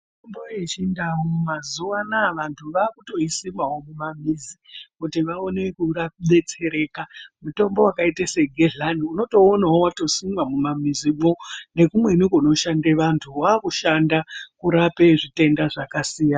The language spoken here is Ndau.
Mitombo yechindau anhu mazuwa ano aye vaakuisimawo mumamizi kuti vaone kudetsereka mitombo wakaite se gehlani unotouonawo watosimwe mumamizimwo nekumweni kunoshande vantu, wakushanda kurape zvitenda zvakasiyanasiyana.